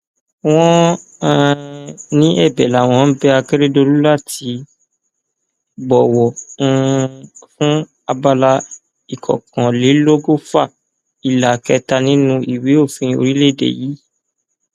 wọn um ní ẹbẹ làwọn ń bẹ akérèdọlù láti bọwọ um fún abala ìkọkànlélọgọfà ìlà kẹta nínú ìwé òfin orílẹèdè yìí